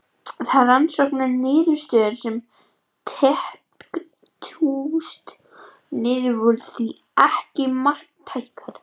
Þær rannsóknarniðurstöður sem tengdust Snúði voru því ekki marktækar.